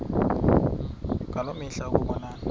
ngaloo mihla ukubonana